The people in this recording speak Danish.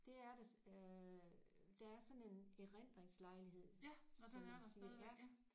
Det er det øh der er sådan en erindringslejlighed som man siger ja